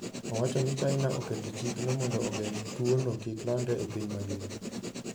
Owacho ni China oketo chikno mondo ogeng' tuwono kik landre e piny mangima.